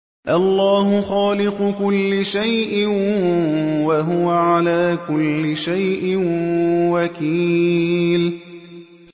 اللَّهُ خَالِقُ كُلِّ شَيْءٍ ۖ وَهُوَ عَلَىٰ كُلِّ شَيْءٍ وَكِيلٌ